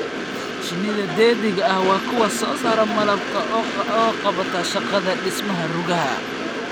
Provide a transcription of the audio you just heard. Shinida dheddigga ah waa kuwa soo saara malabka oo qabata shaqada dhismaha rugaha.